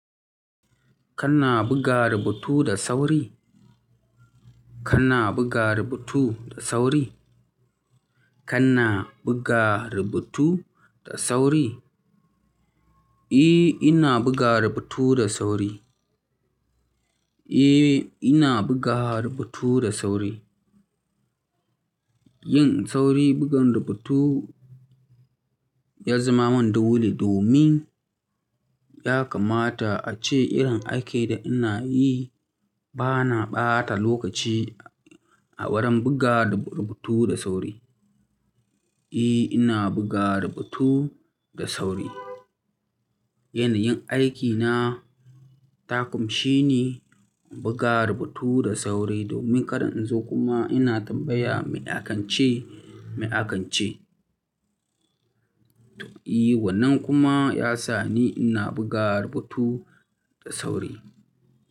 Kana buga rubutu da sauri? Kana buga rubutu da sauri? Kana buga rubutu da sauri? Eh, ina buga rubutu da sauri. Eh, ina buga rubutu da sauri. Yin sauri bugan rubutu ya zama wani dole domin ya kamata ace irin aikin da ina yi bana ɓata lokaci a wurin buga rubutu da sauri. Eh, ina buga rubutu da sauri. Yanayin aikina ta ƙunshi ni in buga rubutu da sauri domin kada in zo kuma ina tambaya mai aka ce, mai aka ce. To, eh wannan kuma ya sa ni ina buga rubutu da sauri.